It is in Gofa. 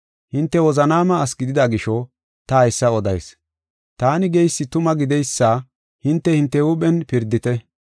Hinte wozanaama asi gidida gisho ta haysa odayis. Taani geysi tuma gideysa hinte hinte huuphen pirdite.